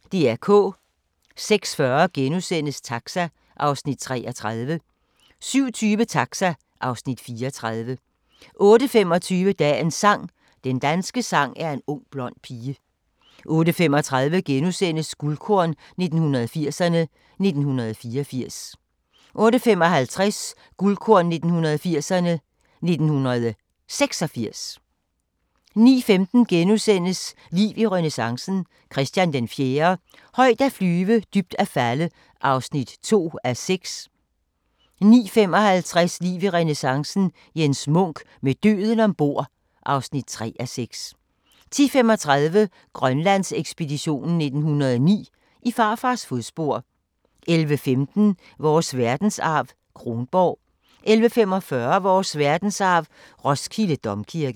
06:40: Taxa (Afs. 33)* 07:20: Taxa (Afs. 34) 08:25: Dagens sang: Den danske sang er en ung blond pige 08:35: Guldkorn 1980'erne: 1984 * 08:55: Guldkorn 1980'erne: 1986 09:15: Liv i renæssancen – Christian IV - højt at flyve, dybt at falde (2:6)* 09:55: Liv i renæssancen – Jens Munk: Med døden ombord (3:6) 10:35: Grønlandsekspeditionen 1909: I farfars fodspor 11:15: Vores verdensarv: Kronborg 11:45: Vores verdensarv: Roskilde Domkirke